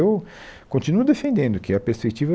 Eu continuo defendendo que a perspectiva